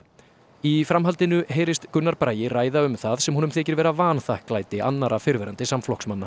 í framhaldinu heyrist Gunnar Bragi ræða um það sem honum þykir vera vanþakklæti annarra fyrrverandi samflokksmanna